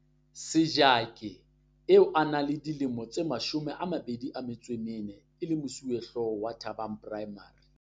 Sejake, eo a nang le dilemo tse 24 e le mosuwehlooho wa Thabang Primary.